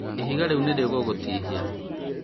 ihiga rĩu nĩrĩgũgũtihia